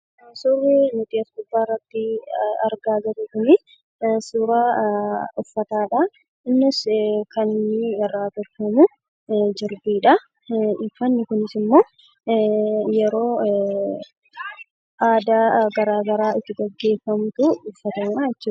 Suurri nuti as gubbaarratti argaa jirru kun suuraa uffata aadaati. Innis kan irraa hojjatame jirbiidha. Uffanni kunis immoo yeroo aadaa garaagaraa gaggeeffamu uffatamaa jechuudha.